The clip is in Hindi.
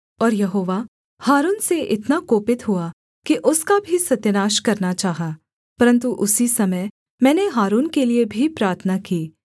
और यहोवा हारून से इतना कोपित हुआ कि उसका भी सत्यानाश करना चाहा परन्तु उसी समय मैंने हारून के लिये भी प्रार्थना की